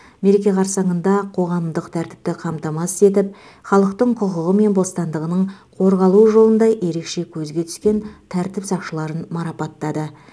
мереке қарсаңында қоғамдық тәртіпті қамтамасыз етіп халықтың құқығы мен бостандығының қорғалуы жолында ерекше көзге түскен тәртіп сақшыларын марапаттады